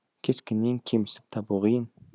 кескіннен кемістік табу қиын